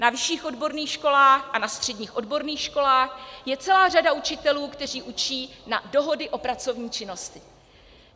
Na vyšších odborných školách a na středních odborných školách je celá řada učitelů, kteří učí na dohody o pracovní činnosti.